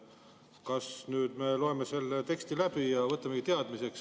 Kas nüüd me loeme selle teksti läbi ja võtame teadmiseks?